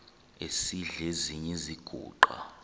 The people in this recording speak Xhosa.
esidl eziny iziguqa